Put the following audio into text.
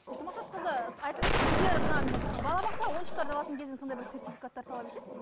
ұлту мақсатқызы айтыңызшы сіздер мына балабақша ойыншықтарды алатын кезде сондай бір сертификаттар талап етесіз бе